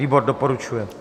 Výbor doporučuje.